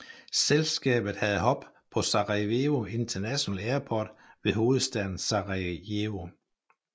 Selskabet havde hub på Sarajevo International Airport ved hovedstaden Sarajevo